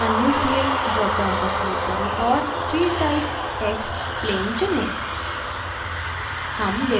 add a new field dropdown पर click करें और field type text plain चुनें